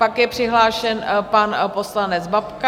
Pak je přihlášen pan poslanec Babka.